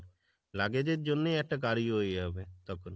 luggage এর জন্যই একটা গাড়ি হয়ে যাবে তখন।